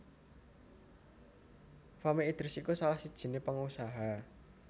Fahmi Idris iku salah sijiné pengusaha